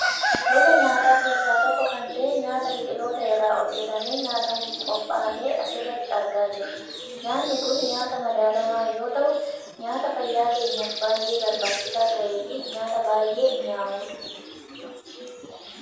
Gosa nyaataa keessaa tokko kan ta'e nyaata biqiltoota irraa hojjatamee nyaatamuuf qophaahe asirratti argaa jirra. Nyaanni kun nyaata madaallamaa yoo ta'u, nyaata fayyaa keenyaaf baayyee barbaachisaa ta'eefi nyaata baayyee mi'aawudha.